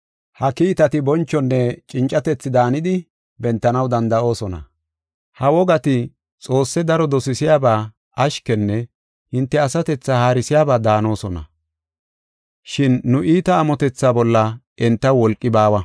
Ha kiitati bonchonne cincatethi daanidi bentanaw danda7oosona. Ha wogati Xoosse daro dosisiyaba, ashkenne hinte asatethaa haarisiyaba daanosona, shin nu iita amotetha bolla entaw wolqi baawa.